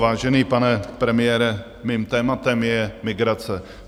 Vážený pane premiére, mým tématem je migrace.